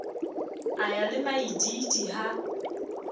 a ya le maidiidi ha